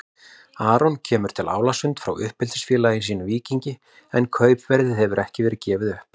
Aron kemur til Álasund frá uppeldisfélagi sínu Víkingi en kaupverðið hefur ekki verið gefið upp.